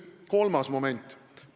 Kolmas moment.